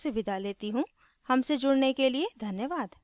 हमसे जुड़ने के लिए धन्यवाद